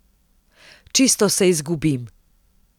Čisto se izgubim.